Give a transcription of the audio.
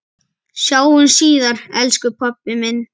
Sjáumst síðar, elsku pabbi minn.